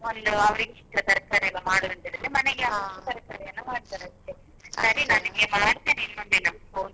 ಒಂದು ಅವ್ರಿಗೆ ಇಷ್ಟ ತರ್ಕಾರಿ ಎಲ್ಲ ಮಾಡುದಂದ್ರೆ. ಮನೆಗೆ ತರ್ಕಾರಿಯನ್ನ ಮಾಡ್ತಾರೆ ಅಷ್ಟೇ ಸರಿ ನಾನ್ ನಿನ್ಗೆ ಮಾಡತೇನೆ ಇನ್ನೊಂದು ದಿನ phone .